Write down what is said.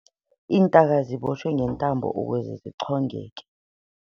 Iintaka zibotshwe ngentambo ukuze zichongeke.